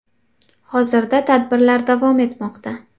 Hozirda tadbirlar davom etmoqda.